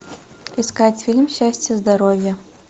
искать фильм счастье здоровье